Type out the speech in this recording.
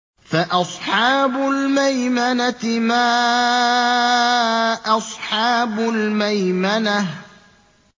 فَأَصْحَابُ الْمَيْمَنَةِ مَا أَصْحَابُ الْمَيْمَنَةِ